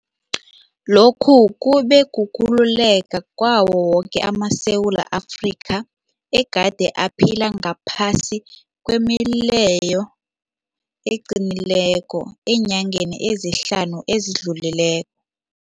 Lokhu kube kukhululeka kwawo woke amaSewula Afrika egade aphila ngaphasi kwemileyo eqinileko eenyangeni ezihlanu ezidlulile